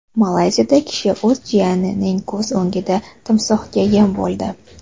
Malayziyada kishi o‘z jiyanining ko‘z o‘ngida timsohga yem bo‘ldi.